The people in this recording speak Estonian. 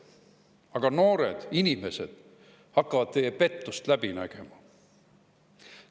Aga noored inimesed hakkavad teie pettust läbi nägema.